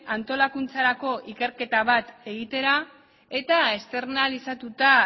antolakuntzarako ikerketa bat egitera eta externalizatuta